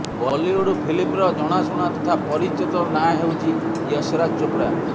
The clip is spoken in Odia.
ବଲିଉଡ୍ ଫିଲ୍ମର ଜଣାଶୁଣା ତଥା ପରିଚିତ ନାଁ ହେଉଛି ୟଶରାଜ୍ ଚୋପ୍ରା